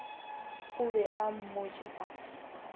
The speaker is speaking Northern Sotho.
o be o mmotše ka